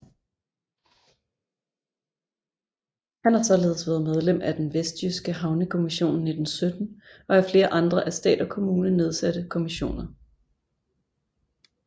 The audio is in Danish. Han har således været medlem af den vestjyske havnekommission 1917 og af flere andre af stat og kommune nedsatte kommissioner